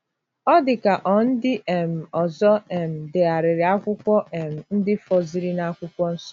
Ọ dị ka ọ̀ ndị um ọzọ um degharịrị akwụkwọ um ndị fọziri n’Akwụkwọ Nsọ.